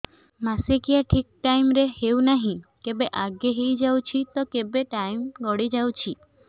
ମାସିକିଆ ଠିକ ଟାଇମ ରେ ହେଉନାହଁ କେବେ ଆଗେ ହେଇଯାଉଛି ତ କେବେ ଟାଇମ ଗଡି ଯାଉଛି